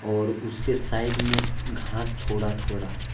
और उसके साइड में घास थोड़ा थोड़ा है।